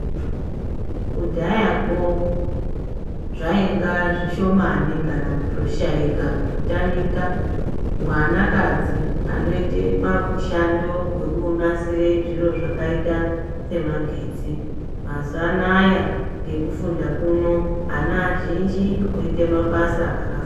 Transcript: Kudhayako zvainga zvishomani kana kutoshaika kutotamika mwanakadzi anoite mishando wekunasire zviro zvakaita semagetsi. Mazuwa anaya ngekufunda kuno ana azhinji oite mabasa akafa.